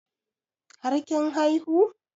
Har kin haihu?